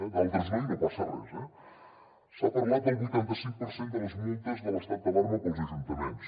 en d’altres no i no passa res eh s’ha parlat del vuitanta cinc per cent de les multes de l’estat d’alarma per als ajuntaments